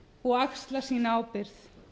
og axla sína ábyrgð